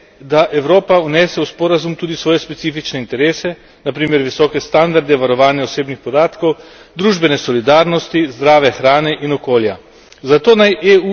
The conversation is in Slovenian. Pomembno pa je, da Evropa vnese v sporazum tudi specifične interese, na primer visoke standarde varovanja osebnih podatkov, družbene solidarnosti, zdrave hrane in okolja.